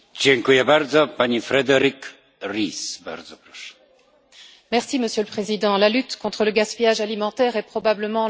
Monsieur le Président, la lutte contre le gaspillage alimentaire est probablement l'un des actes manqués les plus flagrants de nos politiques européennes.